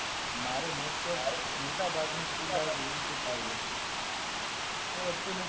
મારે most of મોટાભાગની school એવી રીતે જ ગઈ હશે. એ વખતે હું